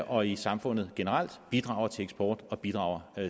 og i samfundet generelt og bidrager til eksport og bidrager